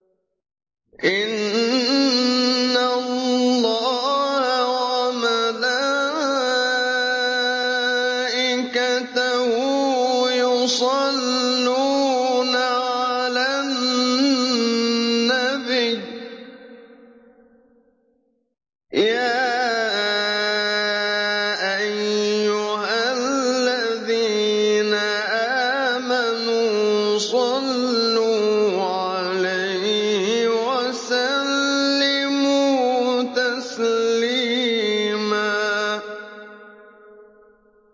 إِنَّ اللَّهَ وَمَلَائِكَتَهُ يُصَلُّونَ عَلَى النَّبِيِّ ۚ يَا أَيُّهَا الَّذِينَ آمَنُوا صَلُّوا عَلَيْهِ وَسَلِّمُوا تَسْلِيمًا